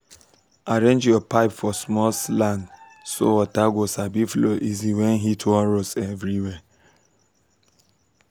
arrange your pipe for small slant so water go sabi flow easy when heat wan roast everywhere.